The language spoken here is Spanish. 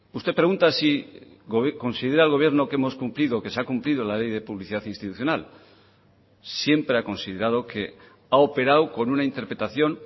usted pregunta si considera el gobierno que hemos cumplido que se ha cumplido la ley de publicidad institucional siempre ha considerado que ha operado con una interpretación